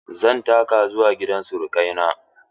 Zan taka zuwa gidan sirukai na.